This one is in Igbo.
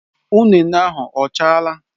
Ụnene ahụ ọ chaala?